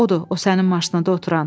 Odur, o sənin maşında oturan.